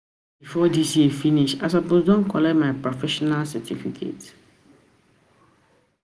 before dis year finish, I suppose don collect my professional certificate